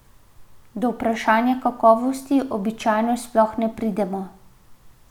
Do vprašanja kakovosti običajno sploh ne pridemo.